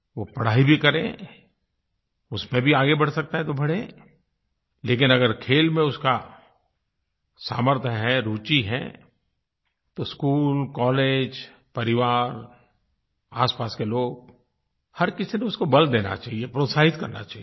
वो पढ़ाई भी करें उसमें भी आगे बढ़ सकते हैं तो बढ़ें लेकिन अगर खेल में उसका सामर्थ्य है रुचि है तो स्कूल कॉलेज परिवार आसपास के लोग हर किसी को उसको बल देना चाहिए प्रोत्साहित करना चाहिए